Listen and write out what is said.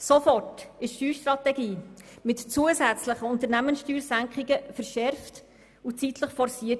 Sofort wurde die Steuerstrategie mit zusätzlichen Unternehmenssteuersenkungen verschärft und zeitlich forciert.